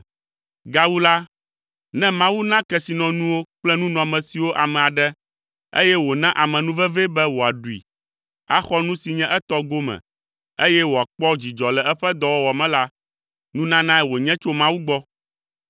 Gawu la, ne Mawu na kesinɔnuwo kple nunɔamesiwo ame aɖe eye wòna amenuvevee be wòaɖui, axɔ nu si nye etɔ gome eye wòakpɔ dzidzɔ le eƒe dɔwɔwɔ me la, nunanae wònye tso Mawu gbɔ.